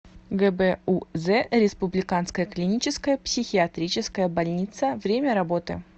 гбуз республиканская клиническая психиатрическая больница время работы